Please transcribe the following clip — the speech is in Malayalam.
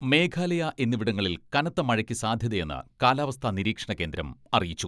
മേഘാലയ എന്നിവിടങ്ങളിൽ കനത്ത മഴയ്ക്ക് സാധ്യതയെന്ന് കാലാവസ്ഥാ നിരീക്ഷണ കേന്ദ്രം അറിയിച്ചു.